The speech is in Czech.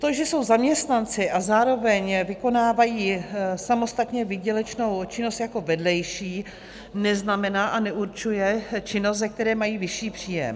To, že jsou zaměstnanci a zároveň vykonávají samostatnou výdělečnou činnost jako vedlejší, neznamená a neurčuje činnost, ze které mají vyšší příjem.